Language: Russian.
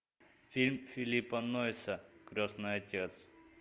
фильм филлипа нойса крестный отец